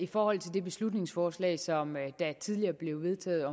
i forhold til det beslutningsforslag som der tidligere blev vedtaget